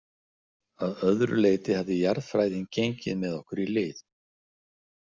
Að öðru leyti hafði jarðfræðin gengið með okkur í lið.